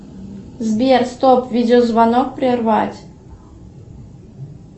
сбер стоп видеозвонок прервать